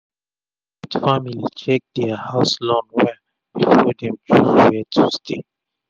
smith family check dia house loan well before dem choose were to stay